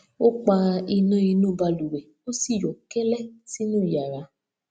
ó pa iná inú balùwẹ ó sì yọ kẹlẹ sínú yàrá